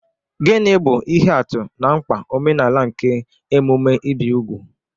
Gịnị bụ ihe atụ na mkpa omenala nke emume ibi úgwù?